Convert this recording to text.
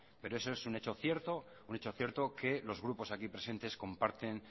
pero eso es un hecho cierto que los grupos aquí presentes comparten